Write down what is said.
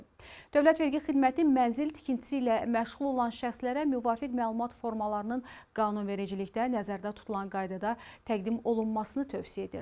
Dövlət Vergi Xidməti mənzil tikintisi ilə məşğul olan şəxslərə müvafiq məlumat formalarının qanunvericilikdə nəzərdə tutulan qaydada təqdim olunmasını tövsiyə edir.